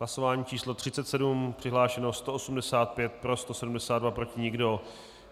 Hlasování číslo 37. Přihlášeno 185, pro 172, proti nikdo.